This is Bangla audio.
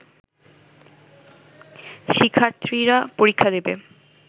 শিক্ষার্থীরা পরীক্ষা দেবে